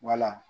Wala